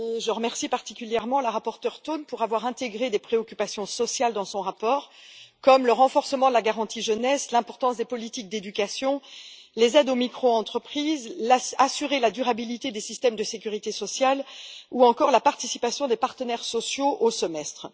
Je remercie particulièrement la rapporteure Toom pour avoir intégré des préoccupations sociales dans son rapport, comme le renforcement de la garantie jeunesse, l'importance des politiques d'éducation, les aides aux microentreprises, la garantie de la durabilité des systèmes de sécurité sociale ou encore la participation des partenaires sociaux au Semestre.